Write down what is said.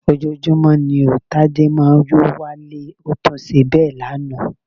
Ojoojúmọ́ ni ó Tádé máa ń yó wálé, ó tún ṣe bẹ́ẹ̀ lánàá